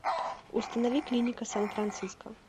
установи клиника сан франциско